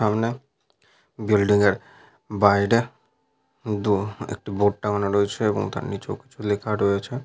সামনে বিল্ডিং এর বাইরে দু একটি বোর্ড টাঙানো রয়েছে এবং তার নিচেও কিছু লেখা রয়েছে।